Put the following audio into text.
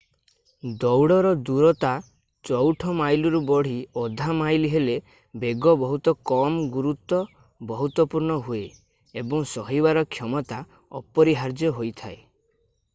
ଦୌଡର ଦୂରତା ଚଉଠ ମାଇଲରୁ ବଢି ଅଧା ମାଇଲ୍ ହେଲେ ବେଗ ବହୁତ କମ୍ ଗୁରୁତ୍ଵ ବହୁତପୂର୍ଣ୍ଣ ହୁଏ ଏବଂ ସହିବାର କ୍ଷମତା ଅପରିହାର୍ଯ୍ୟ ହୋଇଯାଏ